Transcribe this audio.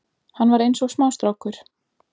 Hann var eins og smástrákur